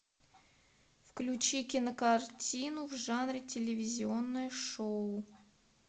включи кинокартину в жанре телевизионное шоу